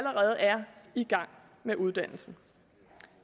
i gang med uddannelsen